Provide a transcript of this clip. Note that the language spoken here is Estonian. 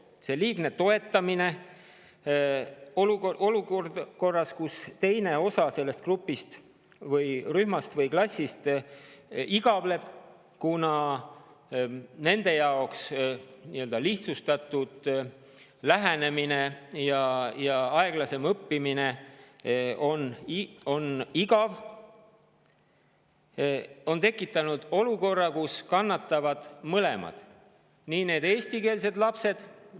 Selline liigne toetamine olukorras, kus teine osa sellest grupist või rühmast või klassist igavleb, kuna nende jaoks on selline lihtsustatud lähenemine ja aeglasem õppimine igav, on tekitanud olukorra, kus kannatavad mõlemad: nii eestikeelsed lapsed …